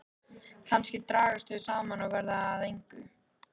Kannski dragast þau saman og verða að engu.